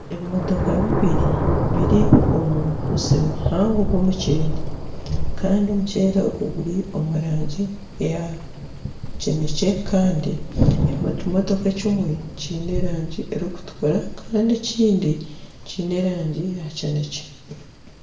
Ebimotoka bibiri biri omu musiri muhango gw'omukyeeri Kandi omuceeri ogu guri omu rangi eya kinekye Kandi ekimotoka ekimwe kiine erangi erikutukura Kandi ekindi kiine erangi ya kinekye.